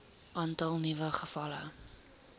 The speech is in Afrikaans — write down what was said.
aantal nuwe gevalle